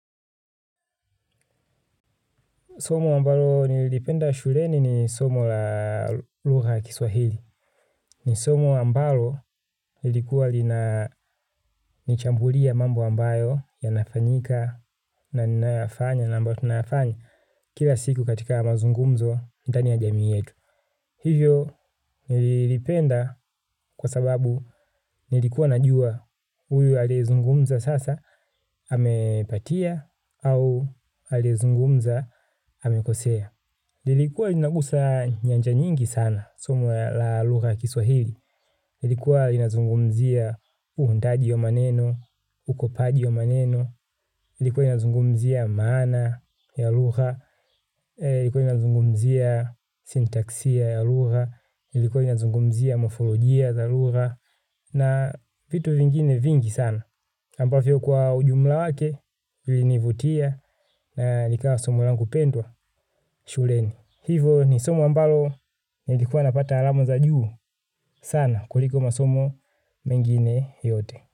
Somo ambalo nilipenda shuleni ni somo la lugha ya kiswahili. Ni somo ambalo lilikuwa lina nchambulia mambo ambayo ya nafanyika na ninayoyafanya na ambayo tunayafanyi kila siku katika mazungumzo ndani ya jamii yetu. Hivyo nililipenda kwa sababu nilikuwa na jua huyu ayezungumza sasa amepatia au alizungumza amekosea. Ilikuwa inagusa nyanja nyingi sana, somo la lugha ya kiswahili. Ilikuwa inazungumzia uundaji wa maneno, ukopaji wa maneno. Ilikuwa inazungumzia mana ya lugha. Ilikuwa inazungumzia sintaksia ya lugha. Ilikuwa inazungumzia mofolojia za lugha. Na vitu vingine vingi sana. Ambavyo kwa ujumla wake, ilinivutia na likawa somo langu pendwa shuleni. Hivyo ni somo ambalo ni likua napata alamo za juu sana kuliko masomo mengine yote.